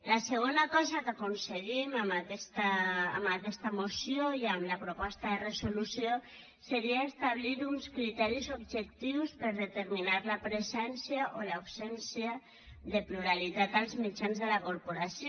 la segona cosa que aconseguim amb aquesta moció i amb la proposta de resolució seria establir uns criteris objectius per a determinar la presència o l’absència de pluralitat als mitjans de la corporació